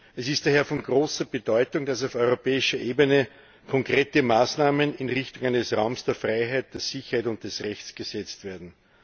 Es ist daher von großer Bedeutung, dass auf europäischer Ebene konkrete Maßnahmen in Richtung eines Raums der Freiheit, der Sicherheit und des Rechts gesetzt werden.